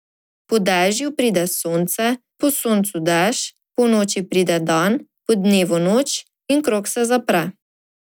Po dežju pride sonce, po soncu dež, po noči pride dan, po dnevu noč in krog se zapre.